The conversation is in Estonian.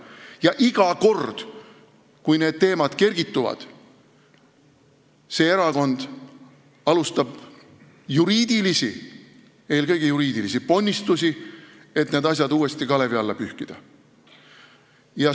Ja iga kord, kui need teemad üles kerkivad, see erakond alustab juriidilisi – eelkõige juriidilisi – ponnistusi, et need asjad uuesti kalevi alla pühkida.